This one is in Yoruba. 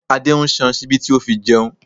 Adé ń san ṣíbí tí ó fẹ́ fi jẹun